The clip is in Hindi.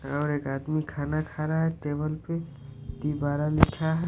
और एक आदमी खाना खा रहा है टेबल पे तीबारा लिखा है।